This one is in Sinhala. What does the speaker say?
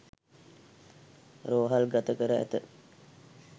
රෝහල්ගත කර ඇත